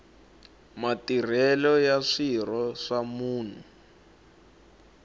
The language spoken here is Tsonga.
matirhelo ya swirho swa munhu